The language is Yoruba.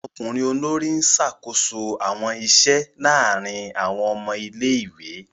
Ọmọkunrin olori n ṣakoso awọn iṣẹ laarin awọn ọmọ ìlé-ìwé.